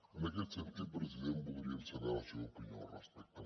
en aquest sentit president voldríem saber la seva opinió al respecte